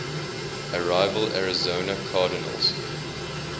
rival arizona cardinals